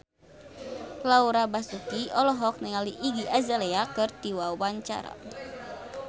Laura Basuki olohok ningali Iggy Azalea keur diwawancara